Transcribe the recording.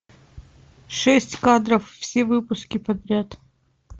шесть кадров все выпуски подряд